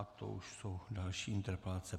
A to už jsou další interpelace.